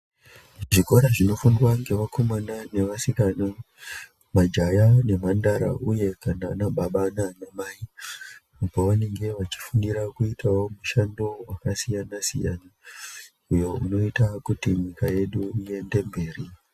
Zvikora zvinofundwa nevakomana nevasikana majaha nemhandara uye kana ana baba nana Mai pavanenge vachifundira kuita mushando yakasiyana siyana iyo inoita nyika yedu iende mberi.